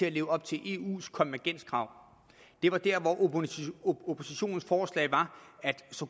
at leve op til eus konvergenskrav det var der hvor oppositionens forslag var